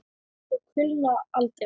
Og kulna aldrei.